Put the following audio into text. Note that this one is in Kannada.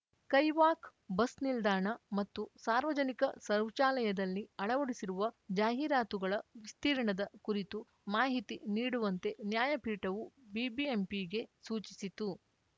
ಕೈವಾಕ್‌ ಬಸ್‌ ನಿಲ್ದಾಣ ಮತ್ತು ಸಾರ್ವಜನಿಕ ಶೌಚಾಲಯದಲ್ಲಿ ಅಳವಡಿಸಿರುವ ಜಾಹೀರಾತುಗಳ ವಿಸ್ತಿರ್ಣದ ಕುರಿತು ಮಾಹಿತಿ ನೀಡುವಂತೆ ನ್ಯಾಯಪೀಠವು ಬಿಬಿಎಂಪಿಗೆ ಸೂಚಿಸಿತು